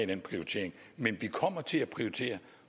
den prioritering men vi kommer til at prioritere og